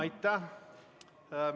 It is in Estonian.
Aitäh!